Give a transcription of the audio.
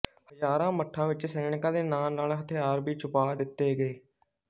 ਹਜ਼ਾਰਾਂ ਮੱਠਾਂ ਵਿੱਚ ਸੈਨਿਕਾਂ ਦੇ ਨਾਲ ਨਾਲ ਹਥਿਆਰ ਵੀ ਛੁਪਿਆ ਦਿੱਤੇ ਗਏ